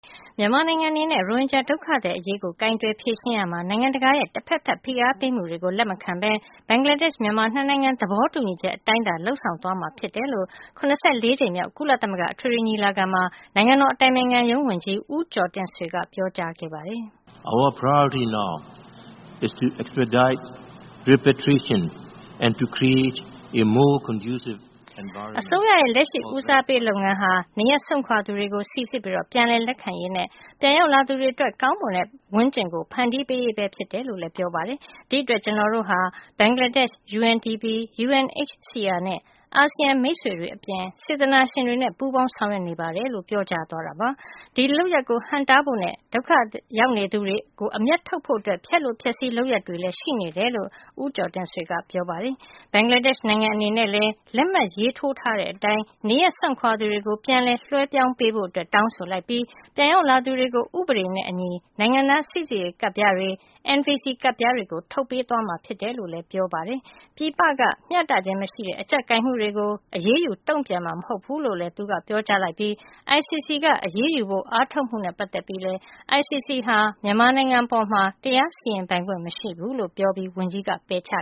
မြန်မာနိုင်ငံအနေနဲ့ ရိုဟင်ဂျာဒုက္ခသည်အရေးကို ကိုင်တွယ်ဖြေရှင်းရာမှာ နိုင်ငံတကာရဲ့ တဖက်သတ် ဖိအားပေးမှုတွေကို လက်မခံဘဲ ဘင်္ဂလားဒေ့ရှ်-မြန်မာ နှစ်နိုင်ငံ သဘောတူညီချက်အတိုင်းသာ လုပ်ဆောင်သွားမှာဖြစ်တယ်လို့ ၇၄ ကြိမ်မြောက် ကုလသမဂ္ဂ အထွေထွေညီလာခံမှာ နိုင်ငံတော်အတိုင်ပင်ခံရုံးဝန်ကြီး ဦးကျော်တင့်ဆွေက ပြောကြားသွားပါတယ်။ “အစိုးရရဲ့ လက်ရှိ ဦးစားပေးလုပ်ငန်းဟာ နေရပ်စွန့်ခွာသူတွေကို စိစစ်ပြီး ပြန်လည်လက်ခံရေးနဲ့ ပြန်ရောက်လာသူတွေအတွက် ကောင်းမွန်တဲ့ပတ်ဝန်းကျင် ဖန်တီးရေးပဲဖြစ်တယ်လို့ ပြောပါတယ်။ ဒီအတွက် ကျနော်တို့ဟာ ဘင်္ဂလားဒေ့ရှ်၊ UNDP, UNHCR နဲ့ ASEAN မိတ်ဆွေတွေအပြင် စေတနာရှင်တွေနဲ့ ပူးပေါင်း ဆောင်ရွက်နေပါတယ်” လို့လည်း ပြောပါတယ်။ ဒီလုပ်ရပ်ကို ဟန့်တားဖို့နဲ့ ဒုက္ခရောက်နေသူတွေကို အမြတ်ထုတ်ဖို့အတွက် ဖျက်လိုဖျက်ဆီး လုပ်ရပ်တွေ ရှိနေတယ်လို့လည်း ဝန်ကြီး ဦးကျော်တင့်ဆွေက ပြောပါတယ်။ ဒါ့အပြင် ဘင်္ဂလားဒေ့ရှ်နိုင်ငံ အနေနဲ့လည်း လက်မှတ်ရေးထိုးထားတဲ့အတိုင်း နေရပ်စွန့်ခွာသူတွေကို ပြန်လည်လွှဲပြောင်းပေးဖို့ တောင်းဆိုလိုက်ပြီး ပြန်ရောက်လာသူတွေကို ဥပဒေနဲ့အညီ နိုင်ငံသားစိစစ်ရေးကတ်ပြားတွေ၊ NVC ကတ်ပြားတွေ ထုတ်သွားပေးမှာ ဖြစ်တယ်လို့လည်း ပြောသွားပါတယ်။ ပြည်ပက မျှတခြင်းမရှိတဲ့ အကျပ်ကိုင်မှုတွေကို အရေးယူ တုံ့ပြန်မှာမဟုတ်ဘူးလို့ သူက ပြောကြားပြီး ICC က အရေးယူဖို့ အားထုတ်မှုနဲ့ ပတ်သက်ပြီးလည်း ICC ဟာ မြန်မာနိုင်ငံအပေါ် တရားစီရင်ပိုင်ခွင့် မရှိဘူးလို့ ဝန်ကြီးက ပယ်ချ